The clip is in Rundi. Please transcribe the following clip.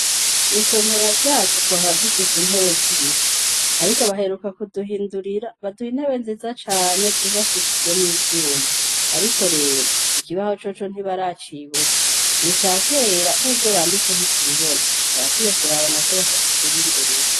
Mw'isomero ryacu twahora dufise intebe z'ibiti. Ariko baheruka kuduhindurira, baduha intebe nziza cane, zubakishijwe n'ivyuma. Ariko rero, ikibaho coco ntibaracibuka, ni ica kera, n'ivyo banditse ntitubibona. Barakwiye kuraba na co bakakiduhindurira.